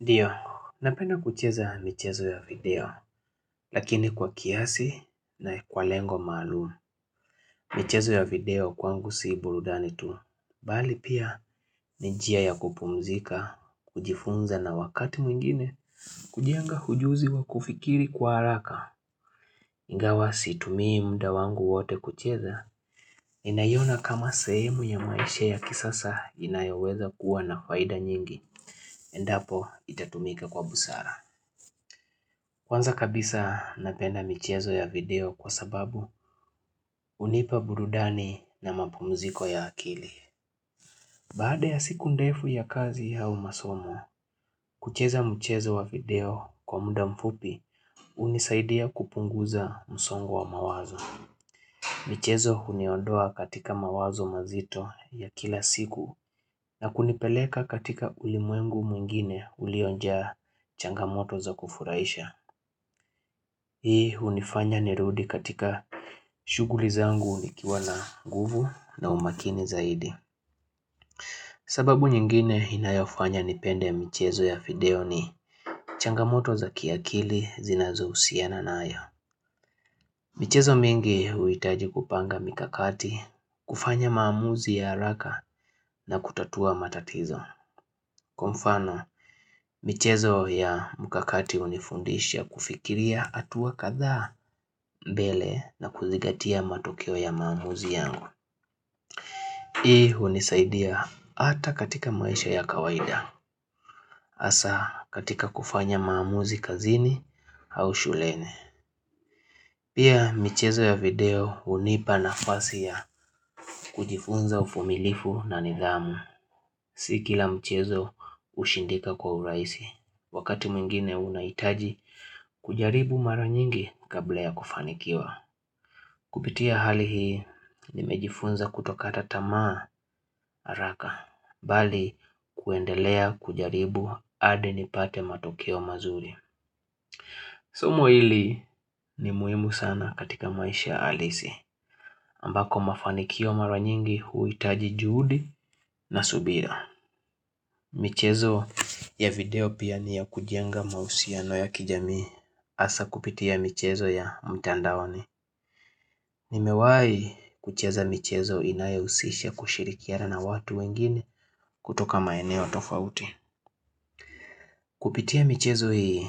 Ndio, napenda kucheza michezo ya video, lakini kwa kiasi na kwa lengo maalumu. Michezo ya video kwangu si burudani tu, bali pia ni njia ya kupumzika, kujifunza na wakati mwingine, kujenga hujuzi wa kufikiri kwa haraka. Ingawa situmii muda wangu wote kucheza, ninaiona kama sehemu ya maisha ya kisasa inayoweza kuwa na faida nyingi, endapo itatumika kwa busara. Kwanza kabisa napenda michezo ya video kwa sababu unipa burudani na mapumuziko ya akili. Baada ya siku ndefu ya kazi au masomo, kucheza michezo wa video kwa muda mfupi unisaidia kupunguza msongu wa mawazo. Michezo uniondoa katika mawazo mazito ya kila siku na kunipeleka katika ulimwengu mwingine uliojaa changamoto za kufuraisha. Hii unifanya nirudi katika shughuli zangu nikiwa na nguvu na umakini zaidi. Sababu nyingine inayofanya nipende mchezo ya video ni changamoto za kiakili zinazo husiana nayo. Michezo mingi uitaji kupanga mikakati, kufanya maamuzi ya haraka na kutatua matatizo. Kwa mfano, michezo ya mkakati unifundisha kufikiria hatua kadhaa mbele na kuzingatia matukio ya maamuzi yangu Hii unisaidia hata katika maisha ya kawaida hasa katika kufanya maamuzi kazini au shuleni Pia michezo ya video unipa nafasi ya kujifunza uvumilifu na nidhamu Si kila michezo ushindika kwa uraisi Wakati mwingine unaitaji kujaribu mara nyingi kabla ya kufanikiwa Kupitia hali hii nimejifunza kutokata tamaa haraka Bali kuendelea kujaribu hadi nipate matokeo mazuri Somo hili ni muhimu sana katika maisha halisi ambako mafanikio mara nyingi huitaji juhudi na subira michezo ya video pia ni ya kujenga mahusia no ya kijamii hasa kupitia michezo ya mtandaoni Nimewai kucheza michezo inayusisha kushirikiana na watu wengine kutoka maeneo tofauti Kupitia michezo hii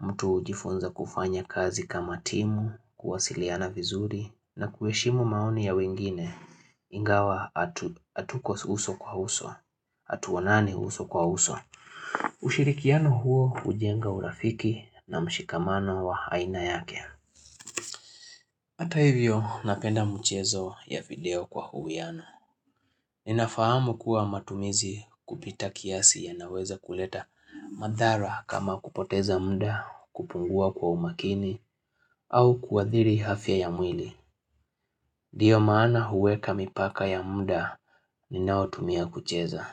mtu ujifunza kufanya kazi kama timu, kuwasiliana vizuri na kuheshimu maoni ya wengine ingawa hatuko uso kwa uso hatuonani uso kwa uso ushirikiano huo ujenga urafiki na mshikamano wa haina yake Hata hivyo napenda mchezo ya video kwa uwiano. Ninafahamu kuwa matumizi kupita kiasi yanaweza kuleta madhara kama kupoteza muda kupungua kwa umakini au kuadhiri afya ya mwili. Ndio maana huweka mipaka ya muda ninaotumia kucheza.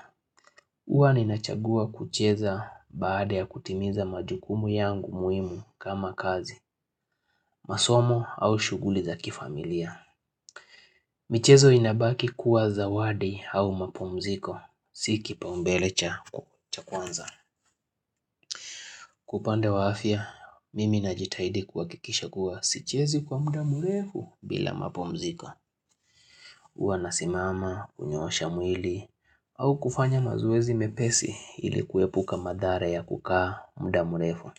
Uwa ninachagua kucheza baada ya kutimiza majukumu yangu muhimu kama kazi, masomo au shughuli za kifamilia. Michezo inabaki kuwa zawadi au mapumziko, si kipaumbele cha kwanza. Kwa upande wa afya, mimi najitahidi kuhakikisha kuwa sichezi kwa muda mrefu bila mapumziko. Uwa nasimama, kunyosha mwili, au kufanya mazoezi mepesi ili kuepuka madhara ya kukaa mdamurefu.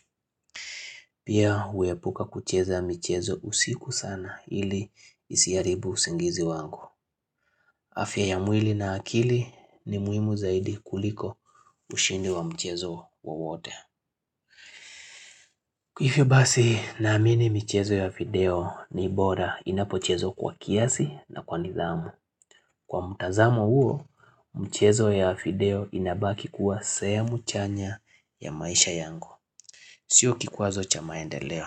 Pia huepuka kucheza michezo usiku sana ili isiharibu usingizi wangu. Afya ya mwili na akili ni muhimu zaidi kuliko ushindi wa mchezo wowote. Hivyo basi naamini michezo ya video ni bora inapochezwa kwa kiasi na kwa nidhamu. Kwa mtazamo huo, mchezo ya video inabaki kuwa sehemu chanya ya maisha yangu. Sio kikwazo cha maendeeo.